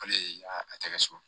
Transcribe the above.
Ale ye a tɛgɛ so